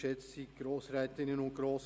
Das Wort hat Regierungsrat Käser.